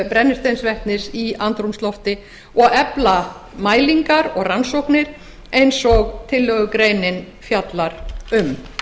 brennisteinsvetnis í andrúmslofti og að efla mælingar og rannsóknir eins og tillögugreinin fjallar um það